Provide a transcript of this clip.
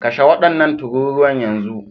Kashe wadannan tururuwan yanzu